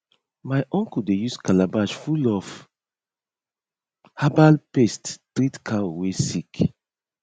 my uncle dey use calabash full of herbal paste treat cow wey sick